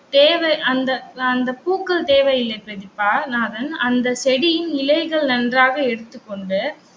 தேவை அந்த அந்த பூக்கள் தேவையில்ல பிரதீபாநாதன், அந்த செடியின் இலைகள் நன்றாக எடுத்து கொண்டு